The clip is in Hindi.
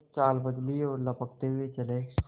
कुछ चाल बदली और लपकते हुए चले